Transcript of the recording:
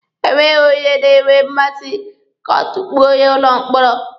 Enweghị onye na-enwe mmasị ka a tukpuo ya n'ụlọ mkpọrọ.